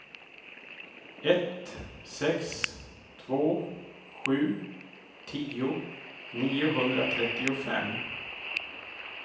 ett sex två sju tio niohundratrettiofem